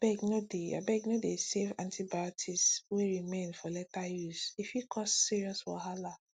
abegno dey abegno dey save antibiotics wey remain for later usee fit cause serious wahala